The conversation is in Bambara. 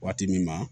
Waati min na